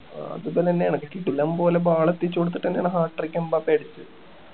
അതൊക്കെ തന്നെ ആണ് കിടിലം പോലെ ball എത്തിച്ചു കൊടുത്തിട്ട് തന്നെ ആണ് hat trick എംബാപേ അടിച്ചത്